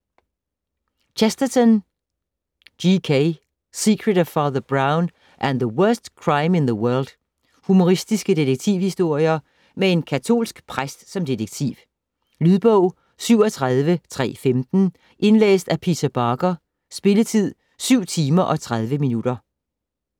Chesterton, G. K.: Secret of Father Brown and The worst crime in the world Humoristiske detektivhistorier med en katolsk præst som detektiv. Lydbog 37315 Indlæst af Peter Barker. Spilletid: 7 timer, 30 minutter.